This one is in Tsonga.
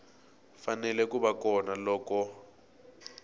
fanele ku va kona loko